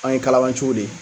An ye kalabanciw de ye